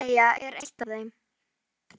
ÓÞREYJA er eitt af þeim.